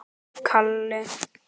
Þetta gladdi Gerði.